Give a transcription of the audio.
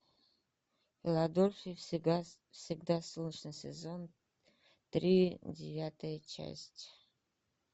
в филадельфии всегда солнечно сезон три девятая часть